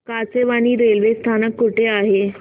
Kachewani railway स्थानक कुठे आहे